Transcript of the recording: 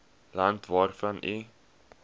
land waarvan u